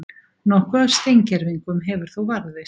Nokkuð af steingervingum hefur þó varðveist.